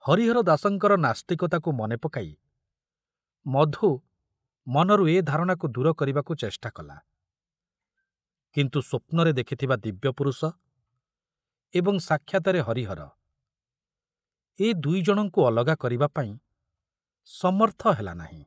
ହରିହର ଦାସଙ୍କର ନାସ୍ତିକତାକୁ ମନେ ପକାଇ ମଧୁ ମନରୁ ଏ ଧାରଣାକୁ ଦୂର କରିବାକୁ ଚେଷ୍ଟା କଲା, କିନ୍ତୁ ସ୍ବପ୍ନରେ ଦେଖୁଥିବା ଦିବ୍ୟପୁରୁଷ ଏବଂ ସାକ୍ଷାତରେ ହରିହର, ଏ ଦୁଇଜଣଙ୍କୁ ଅଲଗା କରିବା ପାଇଁ ସମର୍ଥ ହେଲା ନାହିଁ।